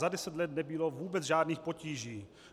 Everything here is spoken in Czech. Za deset let nebylo vůbec žádných potíží.